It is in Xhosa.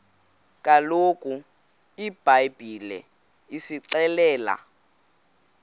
kaloku ibhayibhile isixelela